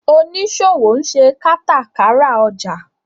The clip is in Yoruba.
oniṣòwo nṣe katakara ọjà.